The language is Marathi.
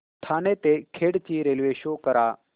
ठाणे ते खेड ची रेल्वे शो करा